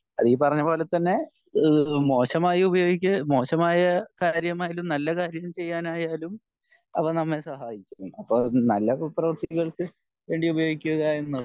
ഈ പറഞ്ഞ പോലെ തന്നെ ഈഹ് മോശമായി ഉപയോഗിക്ക് മോശമായ സാഹചര്യം ആയാലും നല്ല കാര്യം ചെയ്യാൻ ആയാലും അവ നമ്മെ സഹായിക്കും അപ്പൊ നല്ല പ്രവർത്തികൾക്ക് വേണ്ടി ഉപയോഗിക്കുക